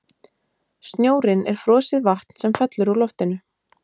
snjórinn er frosið vatn sem fellur úr loftinu